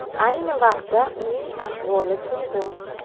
Ayni vaqtda uning ahvoli turg‘un.